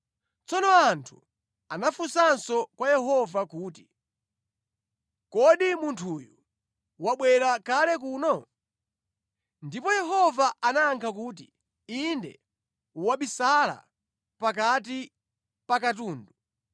Tsono anthu anafunsanso kwa Yehova kuti, “Kodi munthuyu wabwera kale kuno?” Ndipo Yehova anayankha kuti, “Inde wabisala pakati pa katundu.”